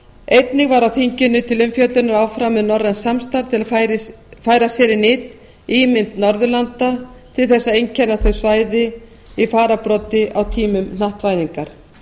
einnig var á þinginu til umfjöllunar áfram um norrænt samstarf til að færa sér í nyt ímynd norðurlanda til að einkenna þau svæði í fararbroddi á tímum hnattvæðingar